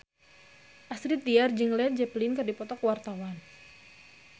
Astrid Tiar jeung Led Zeppelin keur dipoto ku wartawan